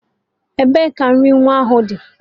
Ebee ka nri nwa ahụ dị?